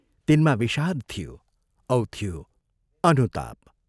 तिनमा विषाद थियो औ थियो अनुताप।